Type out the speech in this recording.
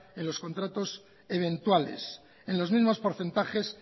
en los contratos eventuales en los mismos porcentajes